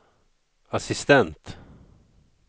assistent